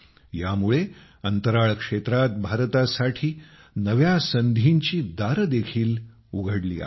यामुळे अंतराळ क्षेत्रात भारतासाठी नव्या संधींची दारे देखील उघडली आहेत